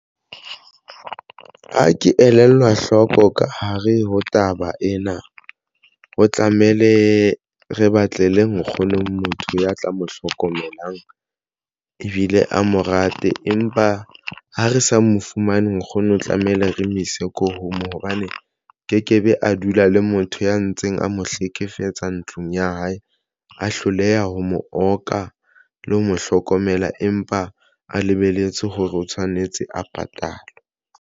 Ha ke elellwa hloko ka ho re ho taba ena, o tlamehile re batlele nkgono motho ya tla mo hlokomelang ebile a mo rate empa ha re sa mo fumane nkgono tlamehile re mo ise ko home hobane ke ke be a dula le motho ya ntseng a mo hlekefetsa ntlong ya hae, a hloleha ho mo oka le ho mo hlokomela, empa a lebelletse hore o tshwanetse a patalwe.